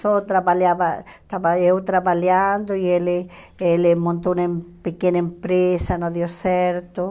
Só trabalhava, estava eu trabalhando e ele ele montou uma pequena empresa, não deu certo.